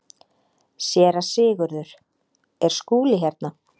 SÉRA SIGURÐUR: Er Skúli hérna?